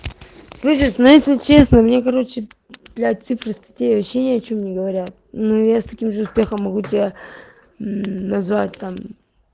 слышишь но если честно мне короче блядь цифры статей вообще ни о чём не говорят но я с таким же успехом могу тебя называть там